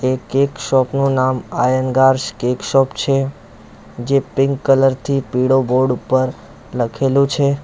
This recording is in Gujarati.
કેક શોપ નું નામ આયનગાર્સ કેક શોપ છે જે પિન્ક કલર થી પીળો બોર્ડ ઉપર લખેલું છે.